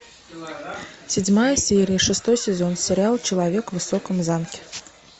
седьмая серия шестой сезон сериал человек в высоком замке